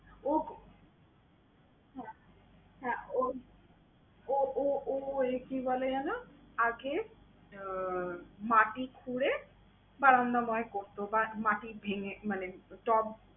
ওগো হ্যাঁ হ্যাঁ ওই ও ও ও~ই কি বলে যেন আগে আহ মাটি খুঁড়ে করতো বা মাটি ভেঙ্গে মানে টব